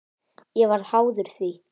Ég varð háður því.